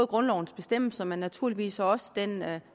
grundlovens bestemmelser men naturligvis også den